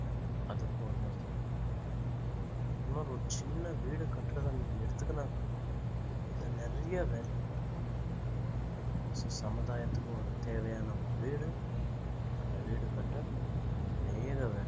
அதுக்கும் இன்னொருத்தர் வேணும் சும்மா ஒரு சின்ன வீடு கட்டுறதை நீங்க எடுத்துக்குன்னா கூட அதுல நிறைய வேலைங்க இருக்கு so சமுதாயத்துக்கு ஒரு தேவையான ஒரு வீடு அந்த வீடு கட்ட அனேக வேலை